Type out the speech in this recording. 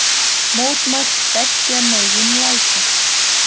Mótmælt beggja megin lækjar